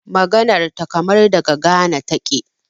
Maganan ta kaman daga Ghana taƙe.